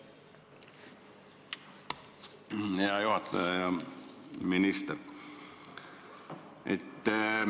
Hea juhataja ja minister!